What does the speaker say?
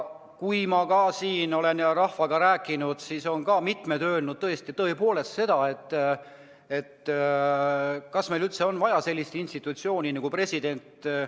Kui ma olen rahvaga rääkinud, siis on mitmed tõesti küsinud, kas meil üldse on vaja sellist institutsiooni nagu president.